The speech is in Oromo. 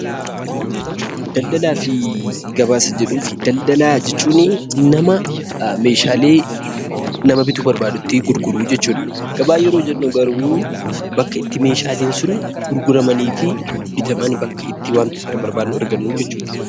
Daldalaa fi gabaa isa jedhuufi daldalaa jechuuni namaa meeshaalee nama biituu barbaadutti gurguruu jechuudha. Gabaa yeroo jennu garuu bakka itti meeshaaleen sun gurguramanii fi bitaman. Bakka itti wanta sana barbaannu argannuu jechuudha.